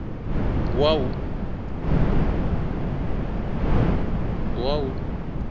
wua